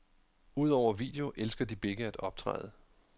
Udover video elsker de begge at optræde.